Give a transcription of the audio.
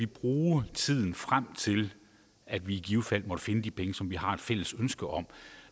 bruge tiden frem til at vi i givet fald måtte finde de penge som vi har et fælles ønske om